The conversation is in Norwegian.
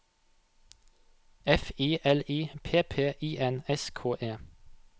F I L I P P I N S K E